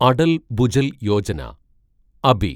Atal Bhujal Yojana Abi